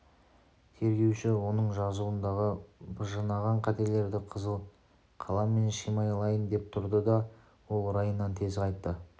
тергеуші оның жазуындағы быжынаған қателерді қызыл қаламмен шимайлайын деп тұрды да ол райынан тез қайтты